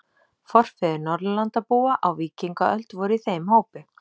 Forfeður Norðurlandabúa á víkingaöld voru í þeim hópi.